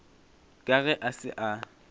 ka ge a se a